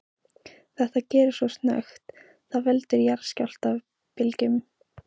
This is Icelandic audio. Þetta gerist svo snöggt að það veldur jarðskjálftabylgjum.